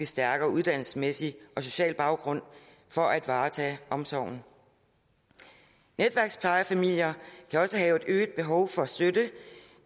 stærkere uddannelsesmæssig og social baggrund for at varetage omsorgen netværksplejefamilier kan også have et øget behov for støtte